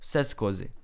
Vseskozi.